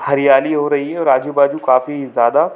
हरियाली हो रही है और आजु-बाजु काफी ज्यादा --